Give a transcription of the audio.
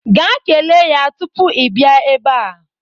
Gaa kelee ya tupu ị bịa ebe a.